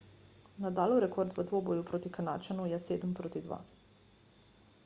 nadalov rekord v dvoboju proti kanadčanu je 7–2